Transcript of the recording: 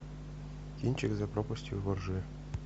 кинчик над пропастью во ржи